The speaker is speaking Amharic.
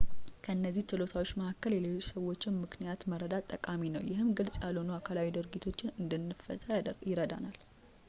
ከእነዚህ ችሎታዎች መካከል የሌሎች ሰዎችን ምክንያት መረዳት ጠቃሚ ነው ይህም ግልፅ ያልሆኑ አካላዊ ድርጊቶችን እንድንፈታ ይረዳናል